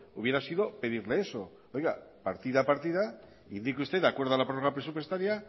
hubiera sido pedirle eso oiga partida a partida indique usted de acuerdo a la prórroga presupuestaria